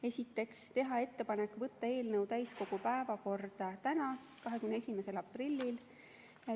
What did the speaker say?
Esiteks, teha ettepanek võtta eelnõu täiskogu päevakorda tänaseks, 21. aprilliks.